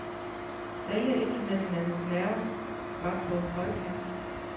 Alle internationale nerver var på højkant.